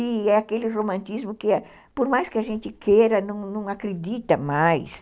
E é aquele romantismo que, por mais que a gente queira, não não acredita mais.